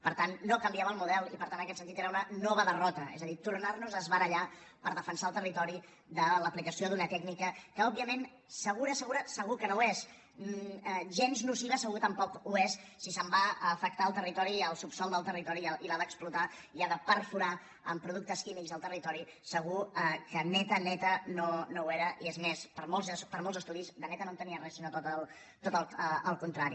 per tant no canviava el model i per tant en aquest sentit era una nova derrota és a dir tornarnos a barallar per defensar el territori de l’aplicació d’una tècnica que òbviament segura segura segur que no ho és gens nociva segur que tampoc ho és si se’n va a afectar el territori i el subsòl del territori i l’ha d’explotar i ha de perforar amb productes químics el territori segur que neta neta no ho era i és més per molts estudis de neta no en tenia res sinó tot el contrari